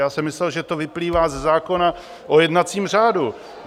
Já jsem myslel, že to vyplývá ze zákona o jednacím řádu.